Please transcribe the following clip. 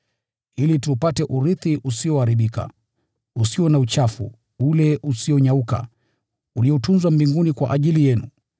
ili tuupate urithi usioharibika, usio na uchafu, ule usionyauka: uliotunzwa mbinguni kwa ajili yenu,